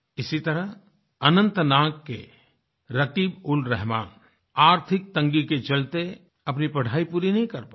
इसी तरह अनंतनाग के रकीबउलरहमान आर्थिक तंगी के चलते अपनी पढाई पूरी नहीं कर पाये